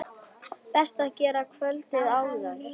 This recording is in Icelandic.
Best að gera kvöldið áður.